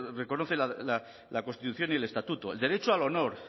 reconoce la constitución y el estatuto el derecho al honor